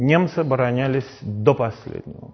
немцы оборонялись до последнего